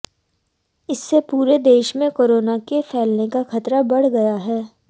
इससे पूरे देश में कोरोना के फैलने का खतरा बढ़ गया है